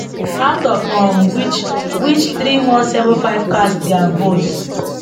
out of um which which three one seven five cast dia votes